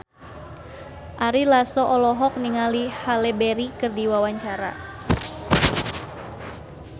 Ari Lasso olohok ningali Halle Berry keur diwawancara